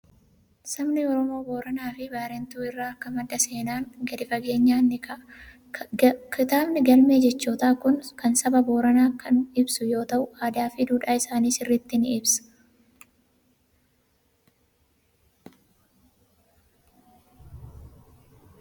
Sabni Oromoo Booranaa fi Baarentuu irraa akka madde seenaan gadi fageenyaan ni kaa'a. Kitaabni galmee jechootaa kun kan saba Booranaa kan ibsu yoo ta'u, aadaa fi duudhaa isaanii sirriitti ni ibsa.